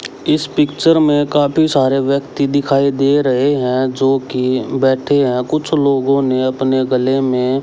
इस पिक्चर में काफी सारे व्यक्ति दिखाई दे रहे हैं जो कि बैठे हैं कुछ लोगों ने अपने गले में--